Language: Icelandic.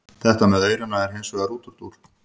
Þetta með aurana er hins vegar útúrdúr.